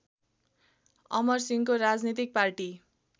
अमरसिंहको राजनीतिक पार्टी